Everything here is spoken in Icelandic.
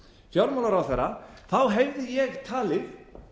fjármálaráðherra hefði ég talið